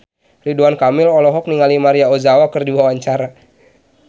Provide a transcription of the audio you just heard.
Ridwan Kamil olohok ningali Maria Ozawa keur diwawancara